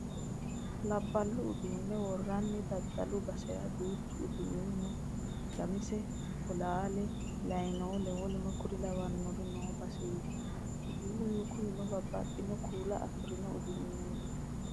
Labballu uduunne worranni daddalu basera duuchu uduunni no. Shamishe, bolaale, layiinole w.k.l noo baseeti. Uduunnu kunino babbaxino kuula afirino uduunneti.